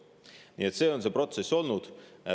Nii et selline on see protsess olnud.